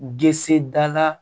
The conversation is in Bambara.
Gse dala